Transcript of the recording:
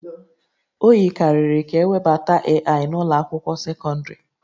O yikarịrị ka ewebata AI n'ụlọ akwụkwọ sekọndrị